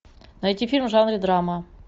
найти фильм в жанре драма